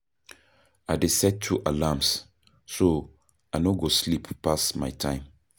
I dey set two alarms, so I no go sleep pass my time.